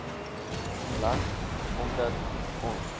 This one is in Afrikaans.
land omdat ons